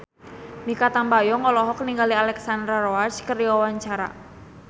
Mikha Tambayong olohok ningali Alexandra Roach keur diwawancara